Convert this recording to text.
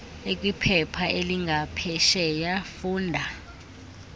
ekwiphepha elingaphesheya funda